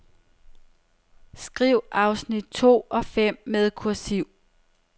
Skriv afsnit to og fem med kursiv.